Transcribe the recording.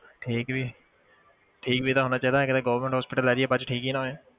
ਠੀਕ ਵੀ ਠੀਕ ਵੀ ਤਾਂ ਹੋਣਾ ਚਾਹੀਦਾ ਕਿਤੇ government hospital ਲੈ ਜਾਈਏ ਬਾਅਦ 'ਚ ਠੀਕ ਹੀ ਨਾ ਹੋਏ